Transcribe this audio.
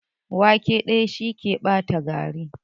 Wake ɗaya, shi ke ɓata gari.